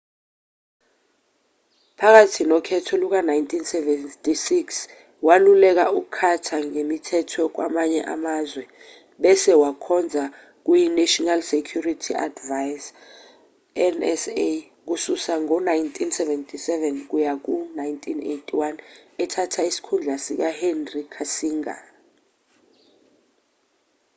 phakathi nokhetho luka-1976 waluleka ucarter ngemithetho yakwamanye amazwe bese wakhonza kuyinational security advisor nsa kusuka ngo-1977 kuya ku-1981 ethatha isikhundla sikahenry kissinger